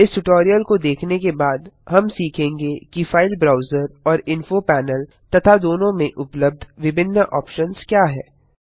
इस ट्यूटोरियल को देखने के बाद हम सीखेंगे कि फाइल ब्राउजर और इन्फो पैनल तथा दोनों में उपलब्ध विभिन्न ऑप्शन्स क्या हैं